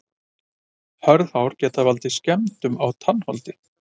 hörð hár geta valdið skemmdum á tannholdi